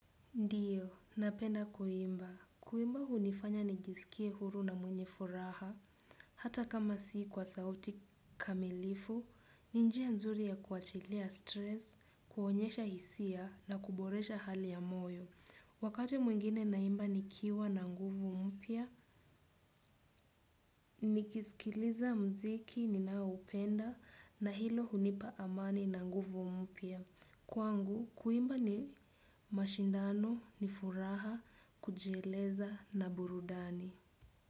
Ndiyo, napenda kuimba. Kuimba hunifanya nijisikie huru na mwenye furaha. Hata kama si kwa sauti kamilifu, ni njia nzuri ya kuachilia stress, kuonyesha hisia na kuboresha hali ya moyo. Wakati mwingine naimba nikiwa na nguvu mpya, nikisikiliza muziki ninaoupenda na hilo hunipa amani na nguvu mpya. Kwangu, kuimba ni mashindano ni furaha kujieleza na burudani.